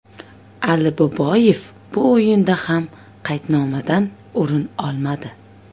Aliboyev bu o‘yinda ham qaydnomadan o‘rin olmadi.